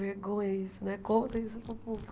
Vergonha isso né, conta isso para o público.